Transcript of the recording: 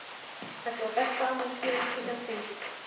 Þetta var besta afmælisgjöfin sem ég gat fengið!